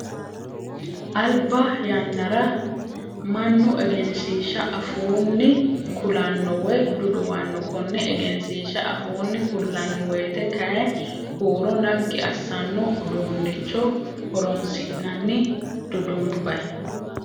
Alba yannara mannu egensiishsha afuunni kulanno woyi duduwanno. Konne egensiishsha afuunni kullanni woyiite kayii huuro naggi assano uduunnicho horonsi'nanni dudunbayi.